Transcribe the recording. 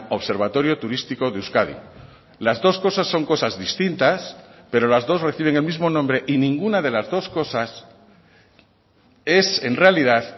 observatorio turístico de euskadi las dos cosas son cosas distintas pero las dos reciben el mismo nombre y ninguna de las dos cosas es en realidad